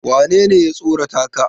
wanene ya tsorata ka?